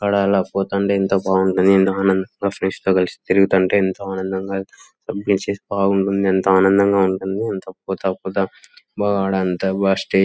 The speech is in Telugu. అక్కడ అలా చూతంతే ఎంత బాగుంటది. కలిసి తిరుగుతంటే ఎంతో ఆనందంగా కంప్లీట్ చేసుంటే బాగుంటుంది. ఎంత ఆనందంగా ఉంటుంది. ]